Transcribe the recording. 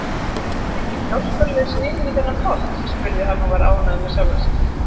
Kemst enginn hjálparlaust niður í þennan pott? spurði hann og var ánægður með sjálfan sig.